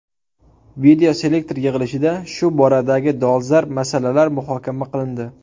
Videoselektor yig‘ilishida shu boradagi dolzarb masalalar muhokama qilindi.